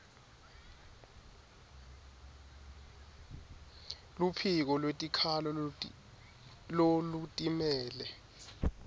luphiko lwetikhalo lolutimele